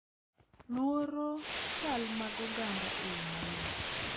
Luoro chal mag oganda e yo mayot,